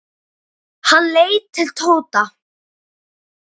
Hann leit til Tóta.